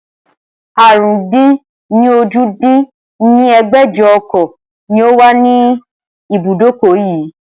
àrún-dín-ní-ojì dín ní ẹgbẹ́jọ ọkọ̀ ni ó wà ní ibùdókọ̀ yii